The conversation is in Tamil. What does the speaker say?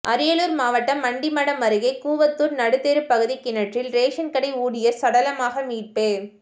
அரியலூர் மாவட்டம் ஆண்டிமடம் அருகே கூவத்தூர் நடுத்தெரு பகுதி கிணற்றில் ரேஷன்கடை ஊழியர் சடலமாக மீட்பு